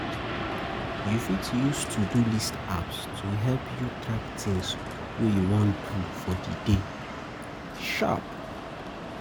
You fit use to-do-ist and apps to help you track things wey you wan do for di day